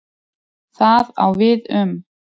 Það á við um